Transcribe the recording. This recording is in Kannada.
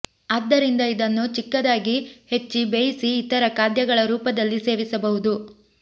ಆದ್ದರಿಂದ ಇದನ್ನು ಚಿಕ್ಕದಾಗಿ ಹೆಚ್ಚಿ ಬೇಯಿಸಿ ಇತರ ಖಾದ್ಯಗಳ ರೂಪದಲ್ಲಿ ಸೇವಿಸಬಹುದು